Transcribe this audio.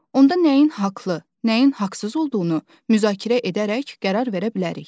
onda nəyin haqlı, nəyin haqsız olduğunu müzakirə edərək qərar verə bilərik.